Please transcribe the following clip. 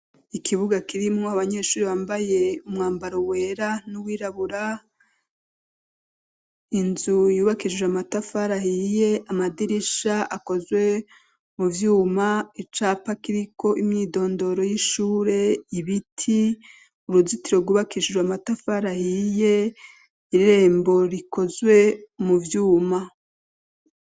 Ikibuga kirimo abanyeshuri bambaye umwambaro wera n'uwirabura inzu yubakishijwe amatafari ahiye amadirisha akozwe mu vyuma icapa akiriko imyidondoro y'ishure ibiti uruzitiro rwubakishijwe amatafari ahiye irrembo rikozwe mu vyuma.